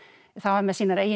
það var með sínar eigin